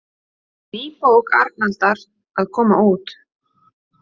Ný bók Arnaldar að koma út